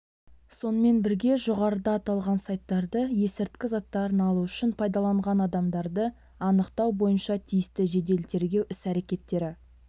сонымен бірге жоғарыда аталған сайттарды есірткі заттарын алу үшін пайдаланған адамдарды анықтау бойынша тиісті жедел-тергеу іс-әрекеттері